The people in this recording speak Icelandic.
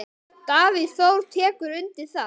Davíð Þór tekur undir það.